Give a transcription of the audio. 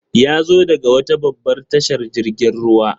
Yazo daga wata babbar tashar jirgin ruwa.